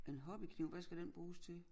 En hobbykniv hvad skal den bruges til?